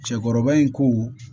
Cɛkɔrɔba in ko